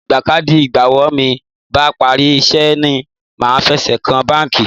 Ìgbà káàdì ìgbowó mi bá parí iṣẹ́ ni màá fẹsẹ̀ kan báńkì.